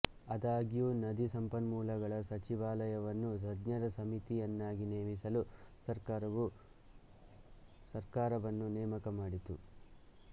ಆದಾಗ್ಯೂ ನದಿ ಸಂಪನ್ಮೂಲಗಳ ಸಚಿವಾಲಯವನ್ನು ತಜ್ಞರ ಸಮಿತಿಯನ್ನಾಗಿ ನೇಮಿಸಲು ಸರ್ಕಾರವು ಸರ್ಕಾರವನ್ನು ನೇಮಕ ಮಾಡಿತು